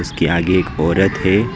के आगे एक औरत है।